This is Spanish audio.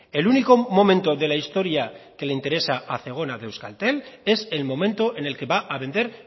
el único momento de la historia que le interesa a zegona de euskaltel es el momento en el que va a vender